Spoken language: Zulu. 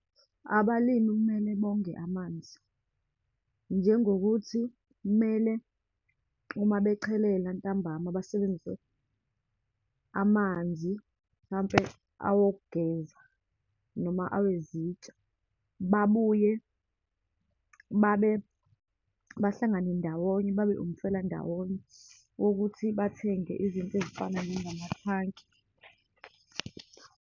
Abalimu kumele bonge amanzi, njengokuthi kumele, uma bechelela ntambama, basebenzise amanzi, mhlampe awokugeza, noma awezitsha. Babuye, babe bahlangane ndawonye, babe umfelandawonye wokuthi bathenge izinto ezifana njengamathanki.